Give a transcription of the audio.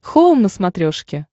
хоум на смотрешке